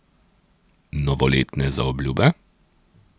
Novoletne zaobljube?